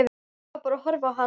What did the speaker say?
Ég var bara að horfa á hana.